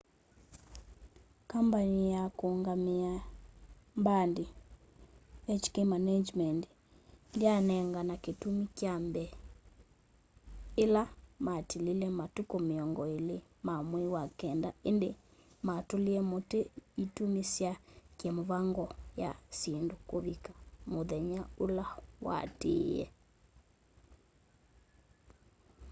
kambani ya kũũngamĩa ĩ mbandi hk management inc ndyanengana kĩtumi kya mbee ĩla matilile matukũ mĩongo ĩlĩ ma mwei wa kenda ĩndĩ matũlie mũtĩ itumi sya kĩ mĩvango ya syĩndũ kũvika mũthenya ũla waatĩĩe